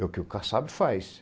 É o que o caçado faz.